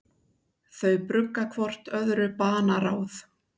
Þau brugga hvort öðru banaráð.